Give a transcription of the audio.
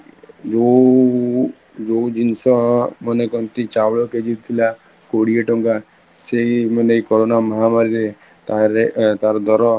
ଯୋଉ, ଯୋଉ ଜିନିଷ ମାନେ କହନ୍ତି ଚାଉଳ KG ଥିଲା କୋଡିଏ ଟଙ୍କା ସେଇ ମାନେ corona ମହାମାରୀରେ ତା ତାର ଦର